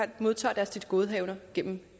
modtager deres tilgodehavender gennem